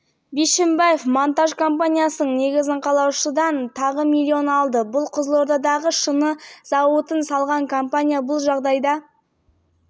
бишімбаевтың ведомствосына бағыныңқы компаниямен жұмыс істеу мүмкіндігі үшін пара алынды параны алу үшін бишімбаев бауыры